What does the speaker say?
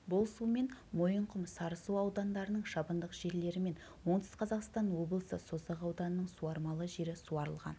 бұл сумен мойынқұм сарысу аудандарының шабындық жерлері мен оңтүстік қазақстан облысы созақ ауданының суармалы жері суарылған